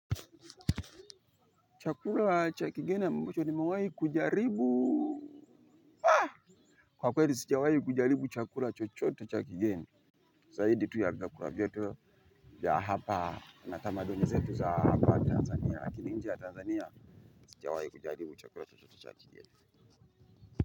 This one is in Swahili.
Chakula cha kigeni ambacho nimewahi kujaribu kwa kweli sijawahi kujaribu chakula chochote cha kigeni. Zaidi tu ya vyakula vyetu ya hapa na tamaduni zetu za hapa Tanzania. Lakini nje ya Tanzania sijawahi kujaribu chakula chochote cha kigeni.